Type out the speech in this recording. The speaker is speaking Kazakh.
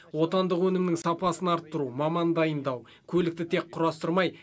отандық өнімнің сапасын арттыру маман дайындау көлікті тек құрастырмай